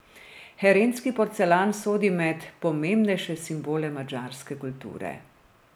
Herendski porcelan sodi med pomembnejše simbole madžarske kulture.